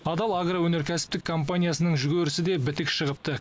адал агроөнеркәсіптік компаниясының жүгерісі де бітік шығыпты